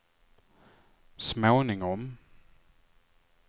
småningom